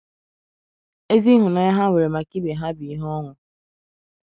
Ezi ịhụnanya ha nwere maka ibe ha bụ ihe ọṅụ.